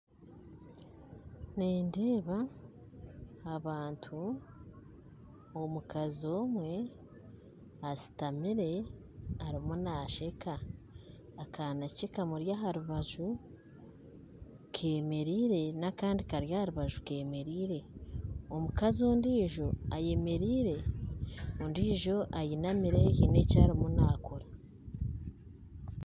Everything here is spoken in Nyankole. Nindeeba abantu, omukazi omwe ashuutamire arimu nasheeka akaana ke kamuri aharubaju kemereire n'akandi kari aharubaju kemereire omukazi ondijo ayemereire ondijo ainamire haine eki arimu naakora